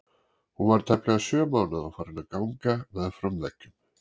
Hún var tæplega sjö mánaða og farin að ganga með fram veggjum.